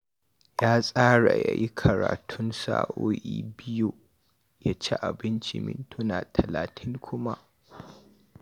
Ya tsara ya yi karatun sa'o'i biyu, ya ci abincin mintuna talatin kuma